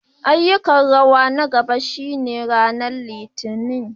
Ayyukan rawa na gaba shine ranar Litinin.